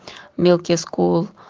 милки скул